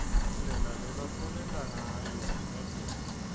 indlela lebabesenta nsayo kadzeni